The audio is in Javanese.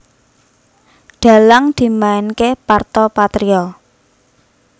Dhalang dimainké Parto Patrio